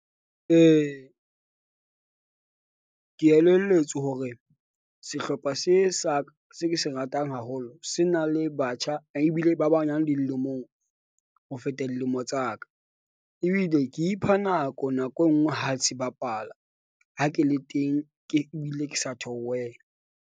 E, ke elelletswe hore sehlopha se saka se ke se ratang haholo, se na le batjha ebile ba banyane dilemong, ho feta dilemo tsa ka ebile ke ipha nako nako e nngwe ha se bapala. Ha ke le teng, ke bile ke sa theowela.